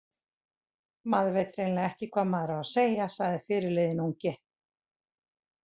Maður veit hreinlega ekki hvað maður á að segja, sagði fyrirliðinn ungi.